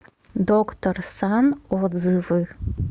доктор сан отзывы